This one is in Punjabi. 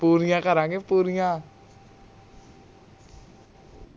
ਪੂਰੀਆਂ ਕਰਾਂਗੇ ਪੂਰੀਆਂ